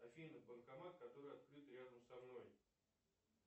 афина банкомат который открыт рядом со мной